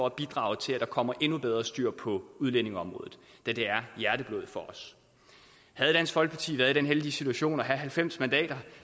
at bidrage til at der kommer endnu bedre styr på udlændingeområdet da det er hjerteblod for os havde dansk folkeparti været i den heldige situation at have halvfems mandater